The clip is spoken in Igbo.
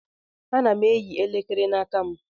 Ana m eyi elekere n'aka m.